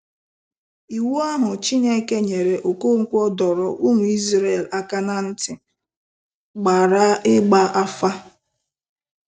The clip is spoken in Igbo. Iwu ahụ Chineke nyere Okonkwo dọrọ ụmụ Izrel aka na ntị gbara ịgba afa.